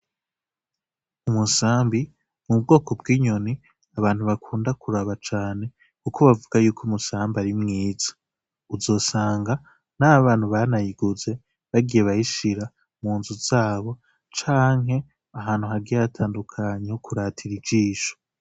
Umusambi ni ubwoko bw'inyoni abantu bakunda kuraba cane kuko bavuga yuko umusambi ari mwiza. Uzosanga n'abantu banayiguze bagiye bayishira mu nzu zabo canke ahantu hagiye hatandukanye ho kuratira ijisho.